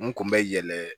N kun bɛ yɛlɛ